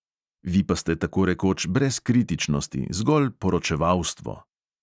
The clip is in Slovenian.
Vi pa ste tako rekoč brez kritičnosti, zgolj poročevalstvo.